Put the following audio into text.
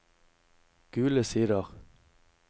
Gule Sider